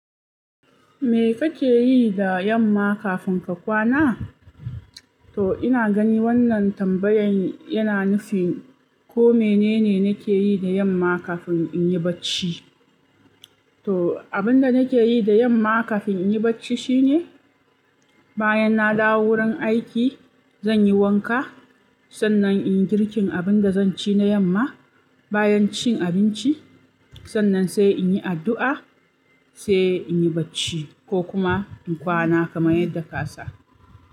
Me kake yi da yamma kafin ka kwana? To ina gani wannan tambayan yana nufin ko menene nake yi da yamma kafin in yi bacci. To abin da nake yi da yamma kafin in yi bacci shine, bayan na dawo wurin aiki, zan yi wanka. Sannan in yi girkin abin da zan ci na yamma. Bayan cin abinci, sannan sai in yi addu'a, sai in yi bacci ko kuma in kwana kamar yadda ka sa.